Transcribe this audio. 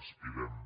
aspirem